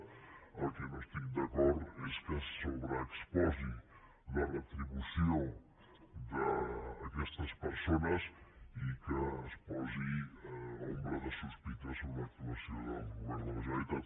en el que no estic d’acord és que es sobreexposi la retribució d’aquestes persones i que es posi ombra de sospita sobre l’actuació del govern de la generalitat